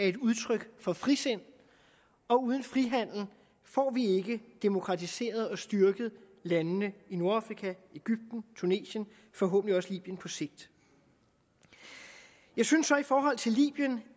et udtryk for frisind og uden frihandel får vi ikke demokratiseret og styrket landene i nordafrika egypten tunesien og forhåbentlig også libyen på sigt jeg synes så i forhold til libyen